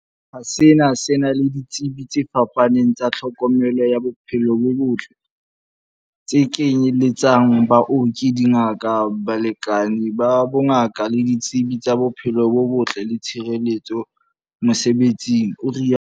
Sehlopha sena se na le di tsebi tse fapaneng tsa tlhokomelo ya bophelo bo botle, tse kenye letsang, baoki, dingaka, balekani ba bongaka le ditsebi tsa bophelo bo botle le tshireletso mosebe tsing, o rialo.